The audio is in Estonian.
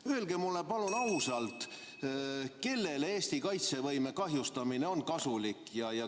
Palun öelge mulle ausalt, kellele on Eesti kaitsevõime kahjustamine kasulik.